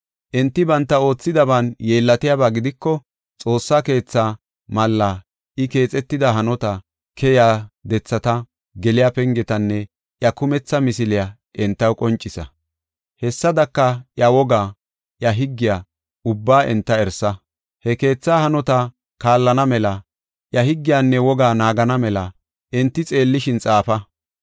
Enti banta oothidaban yeellatiyaba gidiko, Xoossaa keethaa mallaa, I keexetida hanota, keyiya dethata, geliya pengetanne iya kumetha misiliya entaw qoncisa. Hessadaka, iya wogaa, iya higgiya ubbaa enta erisa. He keetha hanota kaallana mela iya higgiyanne woga naagana mela enti xeellishin xaafa.